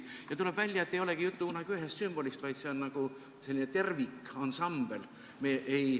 Ja tuleb välja, et enamasti ei olegi tegu ühe sümboliga, vaid nagu sellise tervikansambliga.